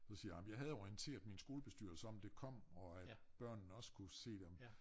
Så siger jeg ej men jeg havde orienteret min skolebestyrelse om det kom og at børnene også skulle se det om